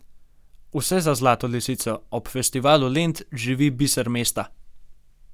Vse za Zlato lisico, ob Festivalu Lent živi biser mesta!